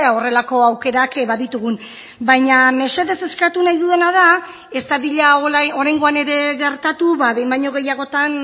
horrelako aukerak baditugun baina mesedez eskatu nahi dudana da ez dadila oraingoan ere gertatu behin baino gehiagotan